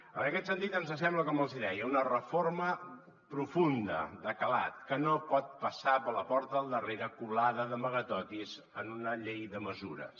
en aquest sentit ens sembla com els hi deia una reforma profunda de calat que no pot passar per la porta del darrere colada d’amagatotis en una llei de mesures